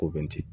Ko bɛ ten